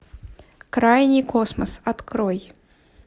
крайний космос открой